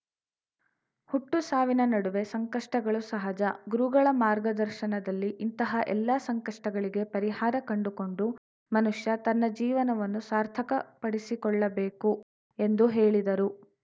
ಹುಟ್ಟು ಸಾವಿನ ನಡುವೆ ಸಂಕಷ್ಟಗಳು ಸಹಜ ಗುರುಗಳ ಮಾರ್ಗದರ್ಶನದಲ್ಲಿ ಇಂತಹ ಎಲ್ಲಾ ಸಂಕಷ್ಟಗಳಿಗೆ ಪರಿಹಾರ ಕಂಡುಕೊಂಡು ಮನುಷ್ಯ ತನ್ನ ಜೀವನವನ್ನು ಸಾರ್ಥಕಪಡಿಸಿಕೊಳ್ಳಬೇಕು ಎಂದು ಹೇಳಿದರು